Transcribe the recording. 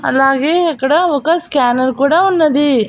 అలాగే ఇక్కడ ఒక స్కానర్ కూడా ఉన్నది.